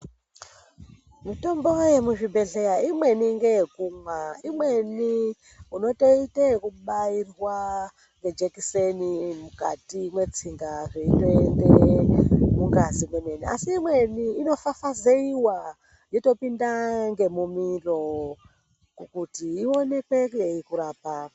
Mitombo yemuzvibhedhlera, imweni ngeyekumwa. Imweni unotoite yekubairwa ngejekiseni mukati metsinga zvichitoenda mungazi mwemene. Asi imweni inofafazeiwa yotopinda ngemumiro kuti ioneke peiri kurapa.